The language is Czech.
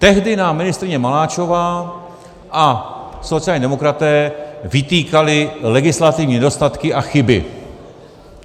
Tehdy nám ministryně Maláčová a sociální demokraté vytýkali legislativní nedostatky a chyby.